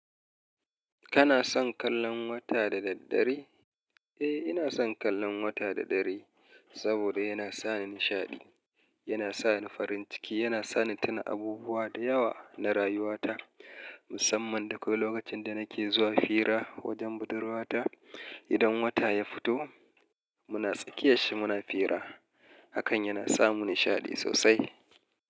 Kana son kallon wata da daddare? Eh, ina son kallon wata da dare saboda yana sa ni nishaɗi. Yana sa ni farin ciki, yana sa ni tuna abubuwa da yawa na rayuwata musamman da kwai lokacin da nake zuwa fira wajen budurwata idan wata ya fito muna tsakiya shi muna fira. Hakan yana sa mu nishaɗi sosai.